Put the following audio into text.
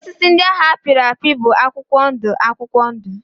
Osisi ndị ahụ a pịrị apị bụ akwụkwọ ndụ akwụkwọ ndụ